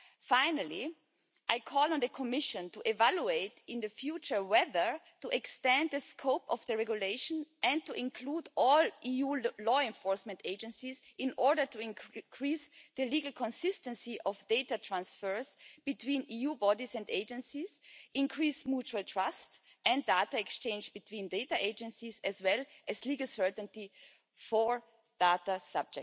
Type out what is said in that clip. Finally, I call on the Commission to evaluate in the future whether to extend the scope of the regulation and to include all EU law enforcement agencies in order to increase the legal consistency of data transfers between EU bodies and agencies, increase mutual trust and data exchange between data agencies, as well as legal certainty for data subjects.